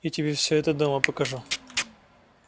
я тебе все это дома покажу